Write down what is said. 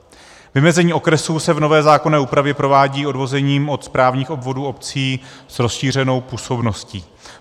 Vymezení okresů se v nové zákonné úpravě provádí odvozením od správních obvodů obcí s rozšířenou působností.